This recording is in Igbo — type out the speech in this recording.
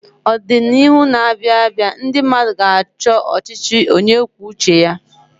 Ọdịnihu na-abịa, ndị mmadụ ka ga-achọ ọchịchị onye kwuo uche ya.